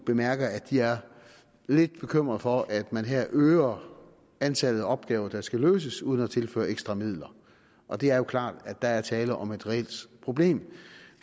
bemærker at de er lidt bekymret for at man her øger antallet af opgaver der skal løses uden at tilføre ekstra midler og det er jo klart at der er tale om et reelt problem